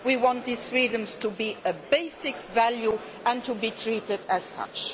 we want these freedoms to be a basic value and to be treated as such.